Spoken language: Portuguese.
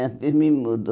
Era filme mudo.